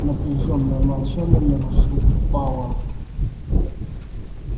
напряжённое молчание нарушил пауэлл